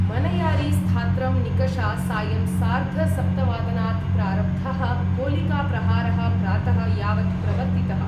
मनयारी स्थात्रं निकषा सायं सार्धसप्तवादनात् प्रारब्ध: गोलिका प्रहारः प्रात: यावत् प्रवर्तितः।